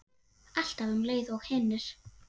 Alltaf um leið og hinir.